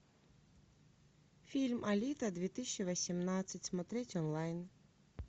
фильм алита две тысячи восемнадцать смотреть онлайн